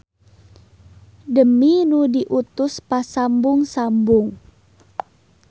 Demi nu diutus pasambung-sambung.